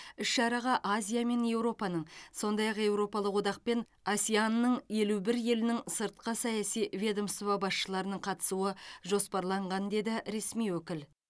іс шараға азия мен еуропаның сондай ақ еуропалық одақ пен асеан ның елу бір елінің сыртқы саяси ведомство басшыларының қатысуы жоспарланған деді ресми өкіл